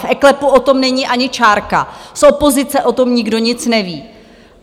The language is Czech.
V eKLEPu o tom není ani čárka, z opozice o tom nikdo nic neví!